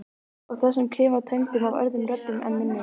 Og þessum klefa tæmdum af öðrum röddum en minni.